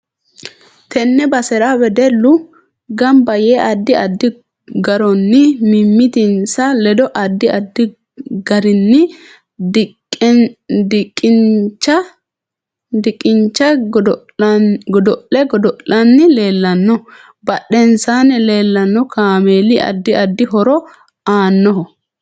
Tenne basera wedellu ganba yee addi addi garonni mimitinsa ledo addi addi garinni dqncha godo'le godo'lanni leelanno badhensaani leeanno kaameeli addi addi horo aannoho